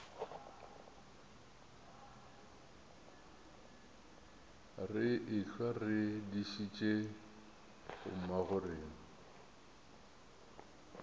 re ehlwa re dišitše bommagorena